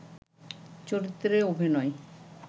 চরিত্রে অভিনয়